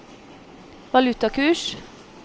valutakurs